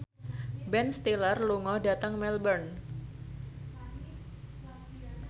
Ben Stiller lunga dhateng Melbourne